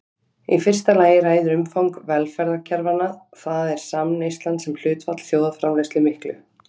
Í fyrsta lagi ræður umfang velferðarkerfanna, það er samneyslan sem hlutfall þjóðarframleiðslu miklu.